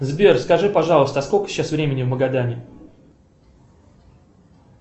сбер скажи пожалуйста сколько сейчас времени в магадане